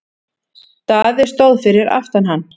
Daði stóð fyrir aftan hann.